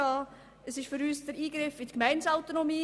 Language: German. Es ist für uns ein Eingriff in die Gemeindeautonomie.